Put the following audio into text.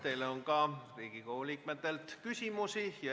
Teile on Riigikogu liikmetel ka küsimusi.